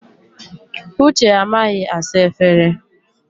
Uche amaghị asa efere.